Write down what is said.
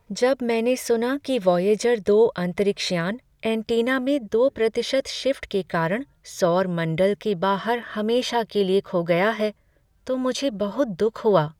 जब मैंने सुना कि वायेजर दो अंतरिक्ष यान एंटीना में दो प्रतिशत शिफ्ट के कारण सौर मंडल के बाहर हमेशा के लिए खो गया है तो मुझे बहुत दुख हुआ।